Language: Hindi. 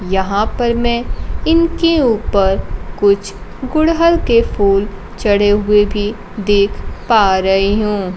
यहां पर मैं इनके ऊपर कुछ गुड़हल के फूल चढ़े हुए भी देख पा रही हूं।